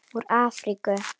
Úr Afríku!